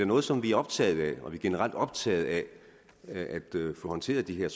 noget som vi er optaget af og vi er generelt optaget af at få håndteret de her